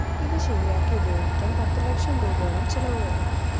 ഇത്‌ ശെരിയാക്കി ഉപയോഗിക്കാന്‍ പത്തു ലക്ഷം രൂപയോളം ചെലവു വരും